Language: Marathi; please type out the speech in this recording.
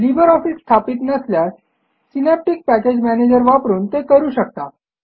लिब्रे ऑफिस स्थापित नसल्यास सिनॅप्टिक पॅकेज मॅनेजर वापरून ते करू शकता